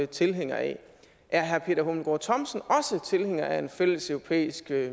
tilhænger af er herre peter hummelgaard thomsen også tilhænger af en fælles europæisk